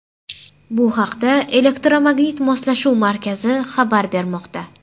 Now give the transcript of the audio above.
Bu haqda Elektromagnit Moslashuv Markazi xabar bermoqda .